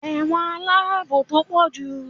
ẹwọ́n alabò to pojú